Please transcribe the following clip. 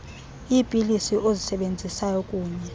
iipilisi ozisebenzisayo kunye